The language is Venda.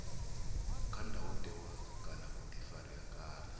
kha ndayotewa kana vhuḓifari kana